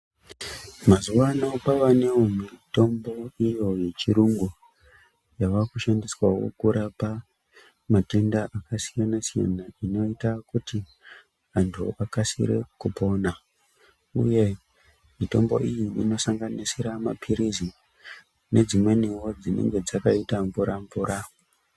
Mazuva ano kwavanevo mitombo iyo yechiyungu yavakushandiswavo kurapa matenda akasiyana-siyana, anoita kuti antu akasire kupona, uye mitombo iyi inosanganisira maphirizi nedzimwenivo dzinenge dzakaita mvura-mvura.